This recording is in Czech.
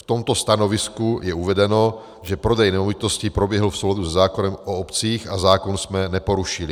V tomto stanovisku je uvedeno, že prodej nemovitosti proběhl v souladu se zákonem o obcích a zákon jsme neporušili.